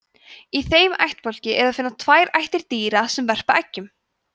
í þeim ættbálki er að finna tvær ættir dýra sem verpa eggjum